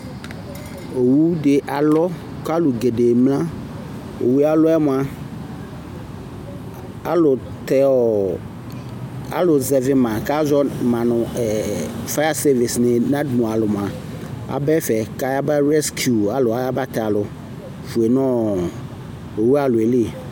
owu di alɔ k'alò gɛdɛ emla owue alɔɛ moa alò tɛ ɔ alò zɛvi ma k'azɔ ma no ɛ faya sɛvis ni nadmo alò moa aba ɛfɛ k'aya ba rɛskiu alò aya ba tɛ alò fue no owu alɔɛ li.